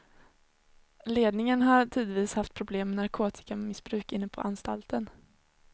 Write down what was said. Ledningen har tidvis haft problem med narkotikamissbruk inne på anstalten.